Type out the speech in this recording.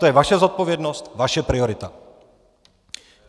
To je vaše zodpovědnost, vaše priorita.